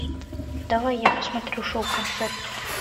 давай я посмотрю шоу концерт